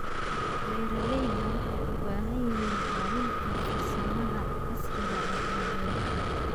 Beeralayda waxay u baahan yihiin caawinta farsamada casriga ah ee beeraha.